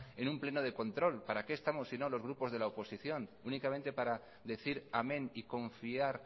en un pleno de control para qué estamos sino los grupos de la oposición únicamente para decir amén y confiar